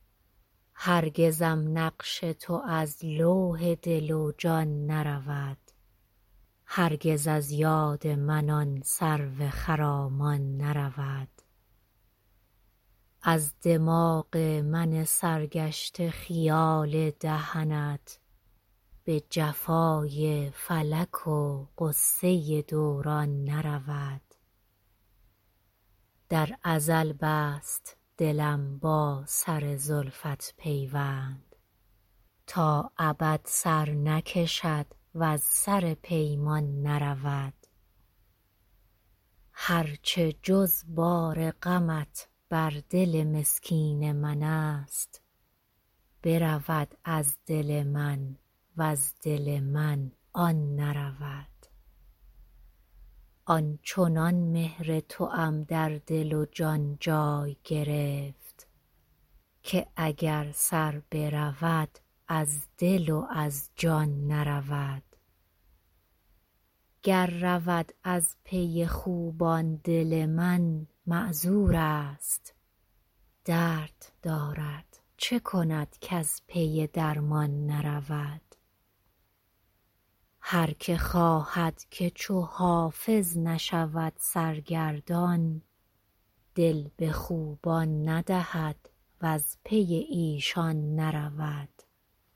هرگزم نقش تو از لوح دل و جان نرود هرگز از یاد من آن سرو خرامان نرود از دماغ من سرگشته خیال دهنت به جفای فلک و غصه دوران نرود در ازل بست دلم با سر زلفت پیوند تا ابد سر نکشد وز سر پیمان نرود هر چه جز بار غمت بر دل مسکین من است برود از دل من وز دل من آن نرود آن چنان مهر توام در دل و جان جای گرفت که اگر سر برود از دل و از جان نرود گر رود از پی خوبان دل من معذور است درد دارد چه کند کز پی درمان نرود هر که خواهد که چو حافظ نشود سرگردان دل به خوبان ندهد وز پی ایشان نرود